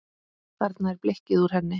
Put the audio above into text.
Þarna er blikkið úr henni.